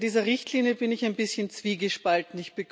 Bei dieser Richtlinie bin ich ein bisschen zwiegespalten.